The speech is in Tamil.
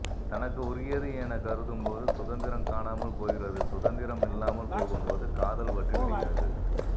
தனக்கு உரியது எனக் கருதும்போது சுதந்திரம் காணாமல் போகிறது சுதந்திரம் இல்லாமல் போகும்போது காதல் வற்றிவிடுகிறது